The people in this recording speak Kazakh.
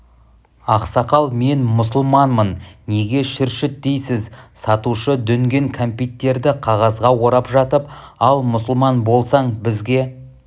ақсақал мен мұсылманмын неге шүршіт дейсіз сатушы дүнген кәмпиттерді қағазға орап жатып ал мұсылман болсаң бізге